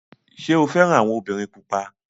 Ṣé o fẹ́ràn àwọn obìnrin pupa?